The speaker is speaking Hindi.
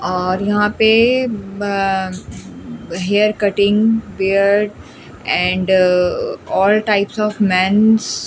और यहां पे बअअ hair cutting beard and all types of men's --